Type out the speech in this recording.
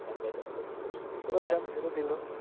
গান গাইতে গাইতে কিন্তু কিররে গান ছেড়ে দিলো